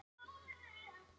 um þetta eru flestir sammála